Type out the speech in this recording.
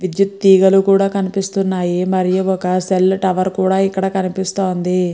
విద్యుత్ తీగల్లు కూడా కనిపిస్తున్నాయి ఒక సెల్ టవర్ కూడా కనిపిస్తుంది.